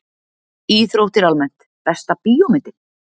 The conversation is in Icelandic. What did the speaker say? Íþróttir almennt Besta bíómyndin?